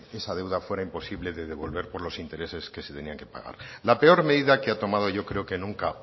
esa deuda era imposible de devolver por los intereses que se tenían que pagar la peor medida que ha tomado yo creo que nunca